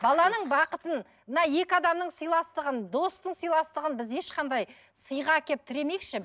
баланың бақытын мына екі адамның сыйластығын достың сыйластығын біз ешқандай сыйға әкеліп тіремейікші